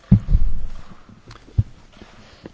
Herr Präsident, liebe Kolleginnen und Kollegen!